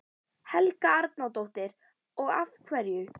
Helga Arnardóttir: Og af hverju?